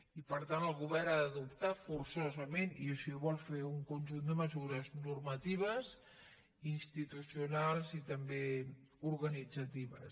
i per tant el govern ha d’adoptar forçosament i així ho vol fer un conjunt de mesures normatives institucionals i també organitzatives